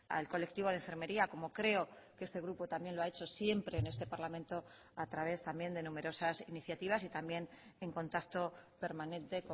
al colectivo de enfermería como creo que este grupo también lo ha hecho siempre en este parlamento a través también de numerosas iniciativas y también en contacto permanente